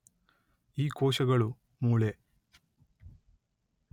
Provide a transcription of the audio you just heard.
ಈ ಕೋಶಗಳು ಮೂಳೆ